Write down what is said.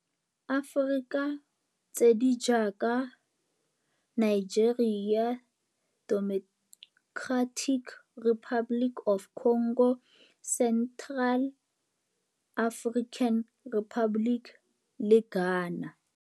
Aforika tse di jaaka Nigeria, Democratic Republic of the Congo, Central African Republic le Ghana.